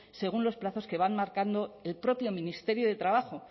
según los plazos que van marcando el propio ministerio de trabajo